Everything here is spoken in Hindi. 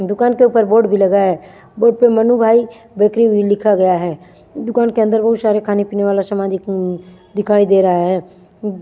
दुकान के ऊपर बोर्ड भी लगा है बोर्ड पे मनु भाई बेकरी भी लिखा गया है दुकान के अंदर बहुत सारे खाने पीने वाला समान देखने दिखाई दे रहा है उम्म--